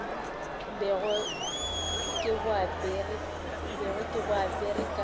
bego ke bo apere ka